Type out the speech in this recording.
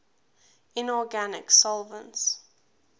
inorganic solvents